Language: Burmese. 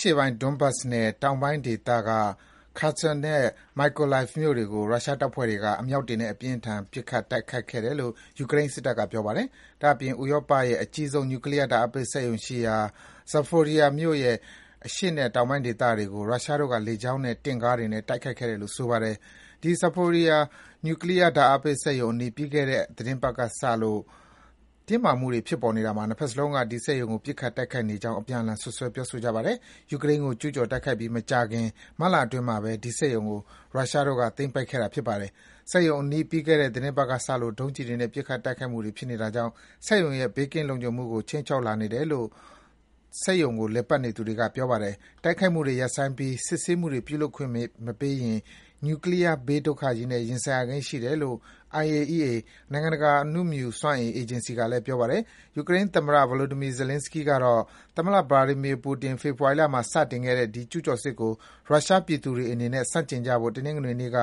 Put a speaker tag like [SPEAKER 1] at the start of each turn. [SPEAKER 1] ရှေ့ပိုင်း Donbas ဒေသနဲ့ တောင်ပိုင်းဒေသက Kherson နဲ့ Mykolaiv မြို့တွေကို ရုရှားတပ်ဖွဲ့တွေက အမြောက်တွေနဲ့ အပြင်းအထန် ပစ်ခတ် တိုက်ခိုက်ခဲ့တယ်လို့ ယူကရိန်းစစ်တပ်က ပြောပါတယ်။ ဒါ့အပြင် ဥရောပတိုက်ရဲ့အကြီးဆုံး Nuclear ဓါတ်အားပေးစက်ရုံရှိရာ Zaporizhzhia မြို့ရဲ့ အရှေ့နဲ့ တောင်ပိုင်းဒေသတွေကို ရုရှားတို့က လေကြောင်းနဲ့ တင့်ကားတွေနဲ့ တိုက်ခိုက်ခဲ့တယ်လို့ ဆိုပါတယ်။ ဒီ Zaporizhzhia Nuclear ဓါတ်အားပေးစက်ရုံအနီး ပြီးခဲ့တဲ့ သီတင်းပတ်ကစလို့ တင်းမာမှုတွေ ဖြစ်ပေါ်နေတာမှာ ဒီစက်ရုံကို ပစ်ခတ်တိုက်ခိုက်နေကြောင်း နှစ်ဘက်စလုံးက အပြန်အလှန် စွပ်စွဲ ပြောဆိုနေကြပါတယ်။ ယူကရိန်းကို ကျူးကျော် တိုက်ခိုက်ပြီး မကြာခင် မတ်လအတွင်းမှာပဲ ဒီစက်ရုံကို ရုရှားတို့သိမ်းပိုက်ထားခဲ့တာပါ။ စက်ရုံအနီး ပြီးခဲ့တဲ့ သီတင်းပတ်ကစလို့ ဒုံးကျည်တွေနဲ့ ပစ်ခတ်တိုက်ခိုက်မှုနေတာကြောင့် စက်ရုံရဲ့ ဘေးကင်း လုံခြုံမှုကို ခြိမ်းခြောက်လာနေတယ်လို့ စက်ရုံကို လည်ပတ်နေသူတွေက ပြောပါတယ်။ တိုက်ခိုက်မှုတွေ ရပ်ဆိုင်းပြီး စစ်ဆေးမှုတွေ ပြုလုပ်ခွင့်မပေးရင် နျူကလီးယား ဘေးဒုက္ခကြီးနဲ့ ရင်ဆိုင်ရကိန်းရှိတယ်လို့ IAEA နိုင်ငံတကာ အနုမြူစွမ်းအင် အေဂျင်စီက ပြောပါတယ်။ ယူကရိန်းသမ္မတ Volodymyr Zelenskyy ကတော့ သမ္မတ Vladimir Putin ဖေဖော်ဝါရီလမှာ စတင်ခဲ့တဲ့ ဒီ ကျူးကျော်စစ်ကို ရုရှားပြည်သူတွေအနေနဲ့ ဆန့်ကျင်ကြဖို့ တနင်္ဂနေ့က